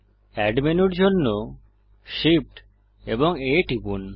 add মেনুর জন্য Shift এবং A টিপুন